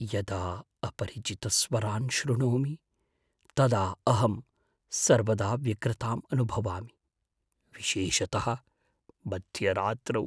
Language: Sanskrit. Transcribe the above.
यदा अपरिचितस्वरान् शृणोमि, तदा अहं सर्वदा व्यग्रताम् अनुभवामि, विशेषतः मध्यरात्रौ।